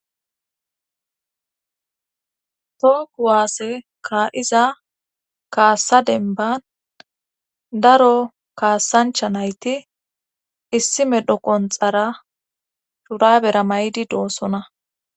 toho kuwaasse kaa7iza kaassa denban daro kaassancha nayti issi medho qonxara shurabera may7di doossona.